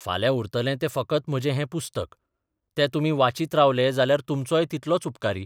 फाल्यां उरतलें तें फकत म्हजें हें पुस्तक, तें तुमी वाचीत रावले जाल्यार तुमचोय तितलोच उपकारी.